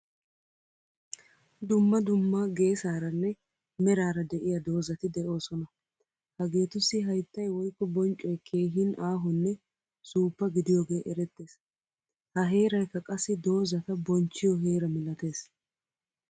Dumma dumma geesaranne merara deiya dozatti deosona. Hagetussi hayttay woykko bonccoy keehin aahone suppa gidiyoge erettees. Ha heeraykka qassi dozata bonchchiyo heera milatees.